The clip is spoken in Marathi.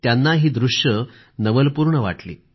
त्यांना ही दृष्ये नवलपूर्ण वाटली